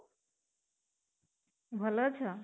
ଭଲ ଅଛ?